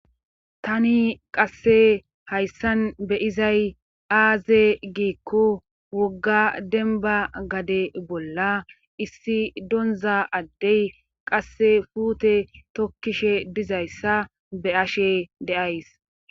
Tani qasse hayssan beyizay aaze giikko wogga denba gade bolla issi donza addey qasse puute tokkishe dizayssa be ashe deays.